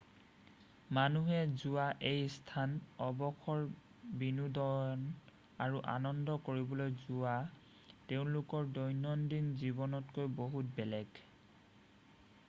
মানুহে যোৱা এই স্থান অৱসৰ বিনোদন আৰু আনন্দ কৰিবলৈ যোৱা তেওঁলোকৰ দৈনন্দিন জীৱনতকৈ বহুত বেলেগ